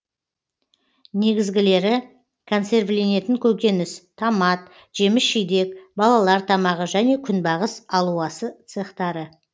негізгілері консервіленетін көкөніс томат жеміс жидек балалар тамағы және күнбағыс алуасы цехтары